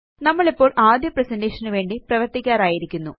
നമ്മളിപ്പൊള് ആദ്യ പ്രസന്റേഷൻ നുവേണ്ടി പ്രവര്ത്തിക്കാറായിരിക്കുന്നു